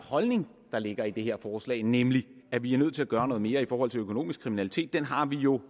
holdning der ligger i det forslag nemlig at vi er nødt til at gøre noget mere i forhold til økonomisk kriminalitet har vi jo